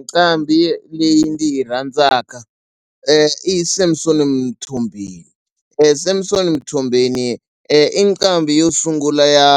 Nqambhi leyi ndzi yi rhandzaka i Samsom Mthombeni. Samson Mthombeni i nqambi yo sungula ya